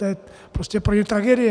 To je prostě pro ně tragédie.